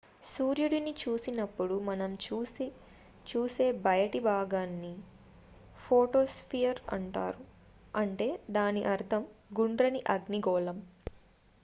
"సూర్యుడిని చూసినప్పుడు మనం చూసే బయటి భాగాన్ని ఫోటోస్పియర్ అంటారు అంటే దాని అర్ధం "గుండ్రని అగ్నిగోళం"".